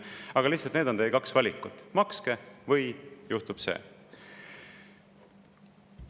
Aga need on teie kaks valikut: makske, või juhtub see.